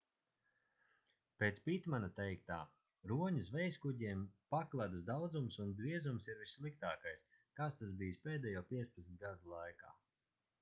pēc pitmana teiktā roņu zvejaskuģiem pakledus daudzums un biezums ir vissliktākais kāds tas bijis pēdējo 15 gadu laikā